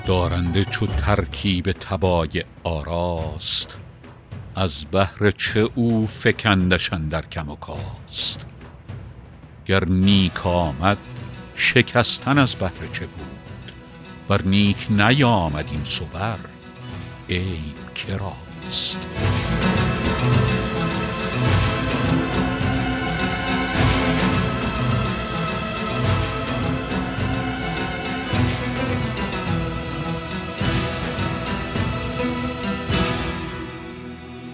دارنده چو ترکیب طبایع آراست از بهر چه اوفکندش اندر کم وکاست گر نیک آمد شکستن از بهر چه بود ور نیک نیامد این صور عیب کراست